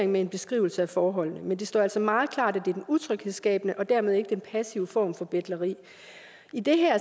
med en beskrivelse af forholdene men det står altså meget klart at det er den utryghedsskabende og dermed ikke den passive form for betleri i den her